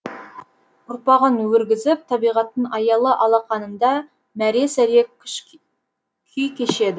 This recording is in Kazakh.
ұрпағын өргізіп табиғаттың аялы алақанында мәре сәре күй кешеді